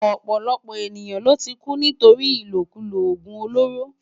Òpòlòpò éniyán ló ti kú nitóri ilókúló ógún ólóró